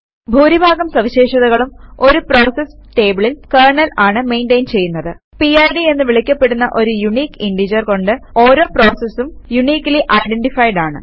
ഭൂരിഭാഗം സവിശേഷതകളും ഒരു പ്രോസസ് ടേബിളിൽ കെര്ണൽ ആണ് മെയിന്റയിൻ ചെയ്യുന്നത് പിഡ് എന്ന് വിളിക്കപ്പെടുന്ന ഒരു യൂണിക്ക് ഇന്റജർ കൊണ്ട് ഓരോ പ്രോസസും യൂണിക്കലി ഐഡന്റിഫൈഡ് ആണ്